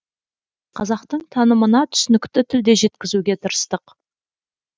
қазақтың танымына түсінікті тілде жеткізуге тырыстық